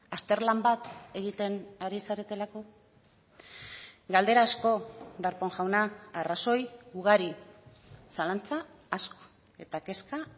azterlan bat egiten ari zaretelako galdera asko darpón jauna arrazoi ugari zalantza asko eta kezka